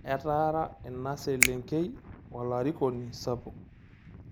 Etaara ina selenkei olarikoni sapuk